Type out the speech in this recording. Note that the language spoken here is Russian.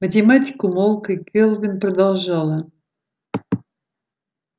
математик умолк и кэлвин продолжала